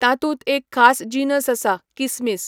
तातूंत एक खास जिनस आसा, किसमीस.